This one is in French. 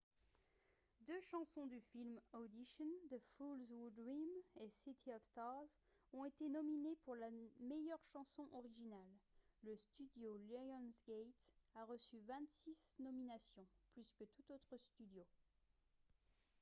deux chansons du film audition the fools who dream et city of stars ont été nominées pour la meilleure chanson originale. le studio lionsgate a reçu 26 nominations — plus que tout autre studio